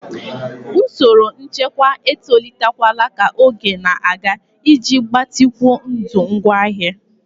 Usoro nchekwa etolitela ka oge na-aga iji gbatịkwuo ndụ ngwaahịa.